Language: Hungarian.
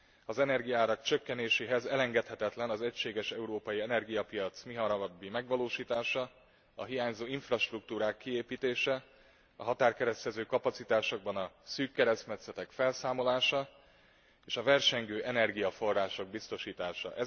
Az energiaárak csökkenéséhez elengedhetetlen az egységes európai energiapiac mihamarabbi megvalósítása, a hiányzó infrastruktúrák kiépítése, a határkeresztező kapacitásokban a szűk keresztmetszetek felszámolása és a versengő energiaforrások biztosítása.